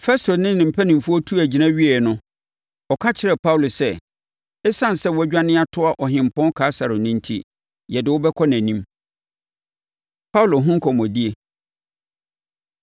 Festo ne ne mpanimfoɔ tuu agyina wieeɛ no, ɔka kyerɛɛ Paulo sɛ, “Esiane sɛ woadwane atoa Ɔhempɔn Kaesare no enti, yɛde wo bɛkɔ nʼanim.” Paulo Ho Nkɔmmɔdie